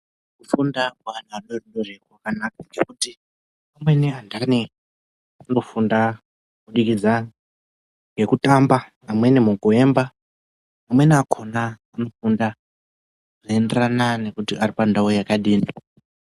Kufunda kweana adodori kwakanaka. ngekuti ,amweni anthani anofunda kubudikidza ngekutamba ,amweni mukuemba, amweni akhona anofunda, zvinoenderana nekuti ari pandau yakadini.